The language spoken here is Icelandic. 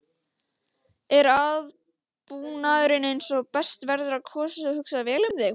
Er aðbúnaðurinn eins og best verður á kosið og hugsað vel um þig?